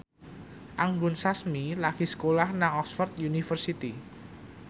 Anggun Sasmi lagi sekolah nang Oxford university